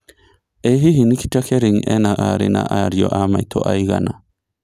ĩ hihi Nikita Kering ena arĩ na ariũ a maitũ aĩgana